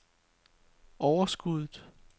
overskuddet